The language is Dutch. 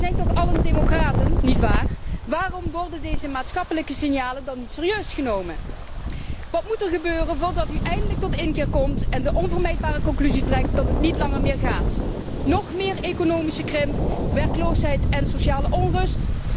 Wij zijn toch allen democraten, nietwaar? Waarom worden deze maatschappelijke signalen dan niet serieus genomen? Wat moet er gebeuren voordat u eindelijk tot inkeer komt en de onvermijdelijke conclusie trekt dat het niet langer meer gaat. Nog meer economische krimp, werkeloosheid en sociale onrust?